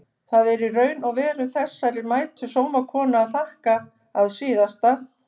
Það er í raun og veru þessari mætu sómakonu að þakka að SÍÐASTA